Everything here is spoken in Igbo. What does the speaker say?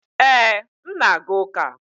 Ee, m na-aga ụka.